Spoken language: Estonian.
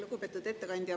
Lugupeetud ettekandja!